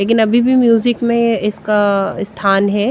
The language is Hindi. लेकिन अभी भी म्यूजिक मे इसका स्थान है।